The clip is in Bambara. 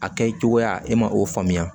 A kɛ cogoya e ma o faamuya